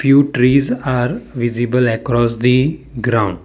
few trees are visible across the ground.